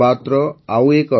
ମୋର ପ୍ରିୟ ପରିବାରଜନ ନମସ୍କାର